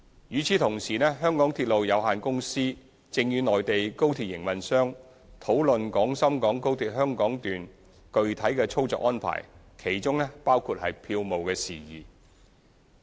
與此同時，香港鐵路有限公司正與內地高鐵營運商討論廣深港高鐵香港段具體操作安排，當中包括票務事宜。